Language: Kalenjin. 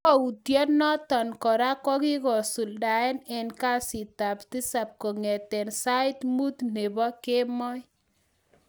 Kokwoutienoton kora kogigisuldaen en kasitab tisap kong'eten sait mut nebo kemoi.